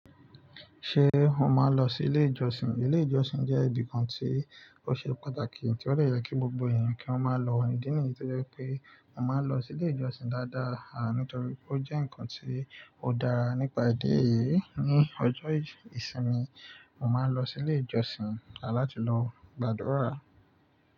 Ṣé e mo máa ń lọ sí ilé ìjọsìn? Ilé ìjọsìn jẹ́ ibi kan tí– ó ṣe pàtàkì, tí ó de yẹ kí gbogbo ènìyàn kí wọ́n máa lọ idi ní yí. To je wipé mo máa ń lọ sí ilé ìjọsìn dáadáa, à nítorí ó jẹ́ ǹkan tí ó dára. Nípa idi eyìí, ní ọjọ́ ìsinmi, mo máa ń lọ sí ilé ìjọsìn a láti lọ gbàdúrà.